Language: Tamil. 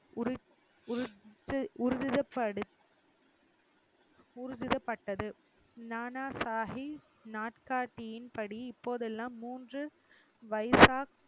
நானாசாஹி நாட்காட்டியின்படி இப்போதெல்லாம் மூன்று வைசாக்